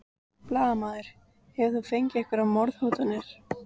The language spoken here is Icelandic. Blaðamaður: Hefur þú fengið einhverjar morðhótanir?